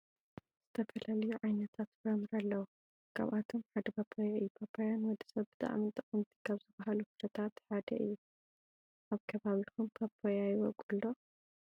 ዝተፈላለዩ ዓይነታት ፍራምረ አለው ካብአቶም ሓደ ፓፓየ እዩ። ፓፓየ ንውድስብ ብጣዕሚ ጠቀመቲ ካበ ዝበሃሉ ፍረምረታት ሓደ እዩ። አብ ከባቢኩም ፓፓየ ይቦቅል ዶ?